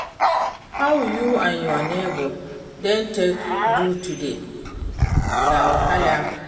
How you and your neighbour dem take do today? No wahala?